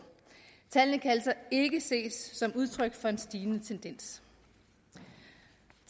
tallene kan altså ikke ses som udtryk for en stigende tendens